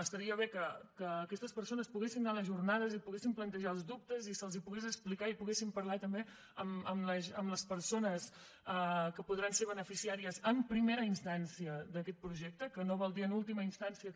estaria bé que aquestes persones poguessin anar a les jornades i poguessin plantejar els dubtes i els els poguessin explicar i poguessin parlar també amb les persones que podran ser beneficiàries en primera instància d’aquest projecte que no vol dir en última instància que